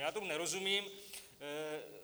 Já tomu nerozumím.